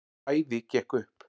Bæði gekk upp.